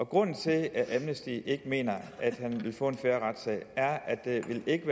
grunden til at amnesty ikke mener at han vil få en ret fair retssag er at sagen ikke